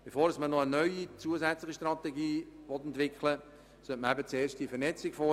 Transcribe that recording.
Bevor man eine neue zusätzliche Strategie entwickelt, sollte man zuerst eine Vernetzung vornehmen.